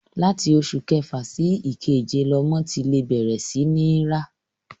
Láti oṣù kẹfà sí ìkeje lọmọ ti lè bẹ̀rẹ̀ sí ní ń rá.